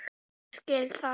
Ég skil það!